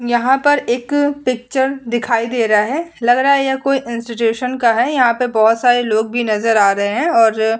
यहाँ पर एक पिक्चर दिखाई दे रहा है लग रहा है ये कोई इंस्टीट्युशन का है यहाँ पे बहुत सारे लोग भी नजर आ रहे है और --